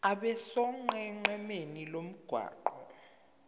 abe sonqenqemeni lomgwaqo